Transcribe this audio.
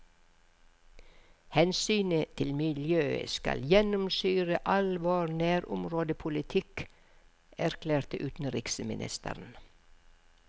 Hensynet til miljøet skal gjennomsyre all vår nærområdepolitikk, erklærte utenriksministeren.